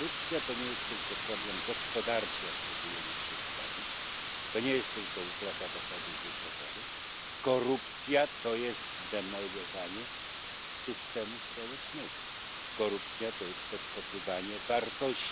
Korupcja to nie jest tylko problem gospodarczy, jak próbujemy ją przedstawić, to nie jest tylko utrata dochodów budżetowych. Korupcja to jest demolowanie systemu społecznego, korupcja to jest podkopywanie wartości.